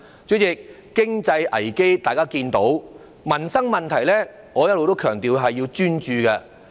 主席，經濟危機大家也能看到，至於民生問題，我一向強調須專注處理。